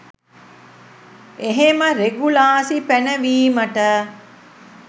එහෙම රෙගුලාසි පැනවීමට